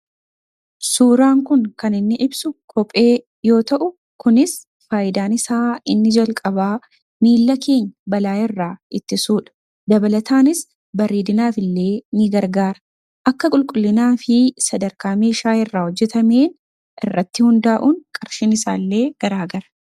Suuraan kun kan inni ibsu kophee yoo ta'u kunis faayidaan isaa inni jalqabaa miila keenya balaa irraa ittisuudha, Dabalataanis bareedinaaf illee ni gargaara akka qulqullinaa fi sadarkaa meeshaa irraa hojjetameen irratti hundaa'uun qarshiin isaa illee garaagara.